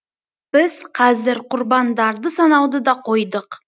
біз қазір құрбандарды санауды да қойдық